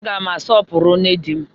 Aga m asọpụrụ nne di m